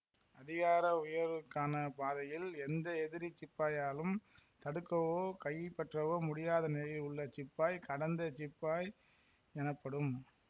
அதிகார உயர்வுக்கான பாதையில் எந்த எதிரிச் சிப்பாயாலும் தடுக்கவோ கைப்பற்றவோ முடியாத நிலையில் உள்ள சிப்பாய் கடந்த சிப்பாய் எனப்படும்